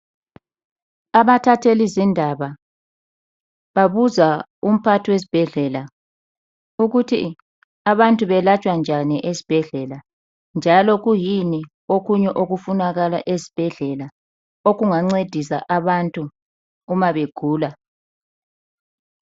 Abathatheli zindaba babuza umphathi wesibhedlela ukuthi abantu balatshwa njani ezibhedlela njalo kuyini okunye okufunakala esibhedlela okungancedisa abantu uma begula.